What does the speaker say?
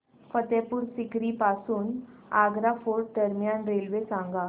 फतेहपुर सीकरी पासून आग्रा फोर्ट दरम्यान रेल्वे सांगा